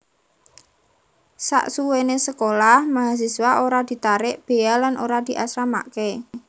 Sasuwene sekolah mahasiswa ora ditarik bea lan ora diasramakke